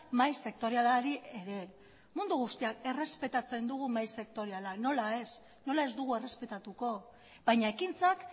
mahai sektorialari ere mundu guztiak errespetatzen dugu mahai sektoriala nola ez nola ez dugu errespetatuko baina ekintzak